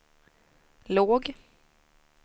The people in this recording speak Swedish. låg